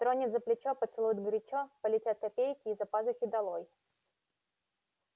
тронет за плечо поцелует горячо полетят копейки из-за пазухи долой